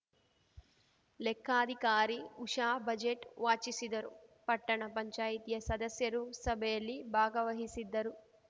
ಲೆಕ್ಕಾಧಿಕಾರಿ Usha budget ವಾಚಿಸಿದರು ಪಟ್ಟಣ ಪಂಚಾಯಿತಿಯ ಸದಸ್ಯರು ಸಭೆಯಲ್ಲಿ ಭಾಗವಹಿಸಿದ್ದರು